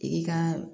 I ka